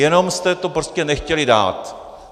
Jenom jste to prostě nechtěli dát.